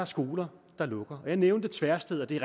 skoler der lukker jeg nævnte tversted og det er